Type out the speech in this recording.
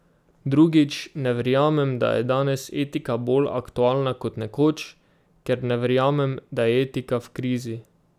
Drugič, ne verjamem, da je danes etika bolj aktualna kot nekoč, ker ne verjamem, da je etika v krizi.